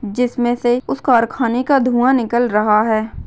जिसमें से उस कारखाने का धुँवा निकल रहा है।